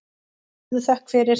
Hafðu þökk fyrir.